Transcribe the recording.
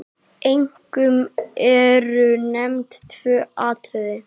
Einkum eru nefnd tvö atriði.